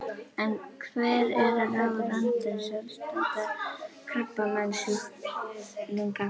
En hver eru ráð Randvers til aðstandanda krabbameinssjúklinga?